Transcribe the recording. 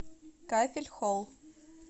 кафель холл